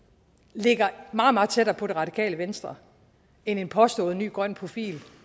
ligger meget meget tættere på det radikale venstre end en påstået ny grøn profil